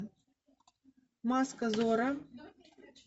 маска зорро